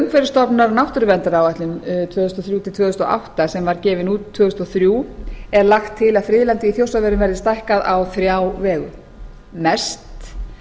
umhverfisstofnunar að náttúruverndaráætlun tvö þúsund og þrjú til tvö þúsund og átta sem var gefin út tvö þúsund og þrjú er lagt til að friðlandið í þjórsárverum verði stækkað á þrjá vegu mest